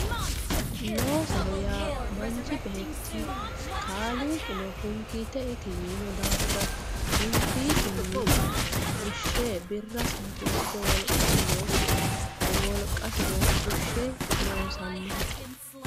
Loosoho yaa manchi beeti kaaliqinno hunkite iti yino daafira huunkiisini fushe birasino fushe woliqasino, woliqasino fushe loosanoho